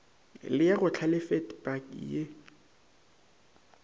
le ya go hlalefetpa ye